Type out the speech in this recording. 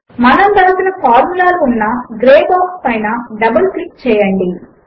మనము వ్రాసిన ఫార్ములాలు ఉన్న గ్రే బాక్స్ పైన డబుల్ క్లిక్ చేయండి